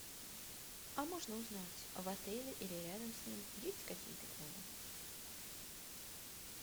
а можно узнать в отеле или рядом с ним есть какие то клубы